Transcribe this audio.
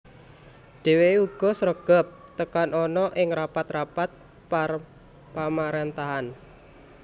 Dhèwèké uga sregep teka ana ing rapat rapat pamaréntahan